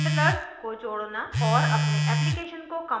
और अपने application को कंपाइल औऱ रन करना भी